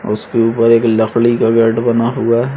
उसके ऊपर एक लकड़ी का बेड बना हुआ है।